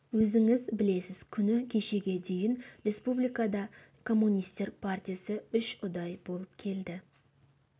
өзіңіз білесіз күні кешеге дейін республикада коммунистер партиясы үш ұдай болып келді